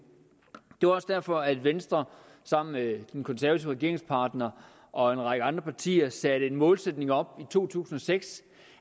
det var også derfor venstre sammen med den konservative regeringspartner og en række andre partier satte en målsætning op i to tusind og seks